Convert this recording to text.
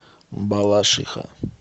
балашиха